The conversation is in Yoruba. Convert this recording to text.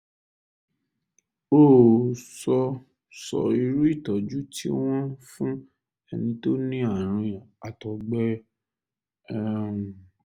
o ò sọ sọ irú ìtọ́jú tí wọ́n ń fún ẹni tó ní ààrùn àtọ̀gbẹ um